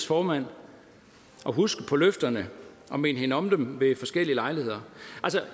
formand husker på løfterne og minde hende om dem ved forskellige lejligheder